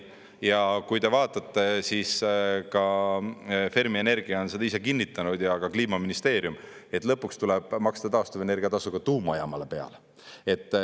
Ja kui te vaatate, siis ka Fermi Energia on seda ise kinnitanud ja Kliimaministeerium, et lõpuks tuleb maksta taastuvenergia tasu ka tuumajaamale peale.